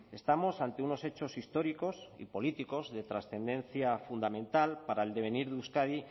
estamos ante unos hechos históricos y políticos de trascendencia fundamental para el devenir de euskadi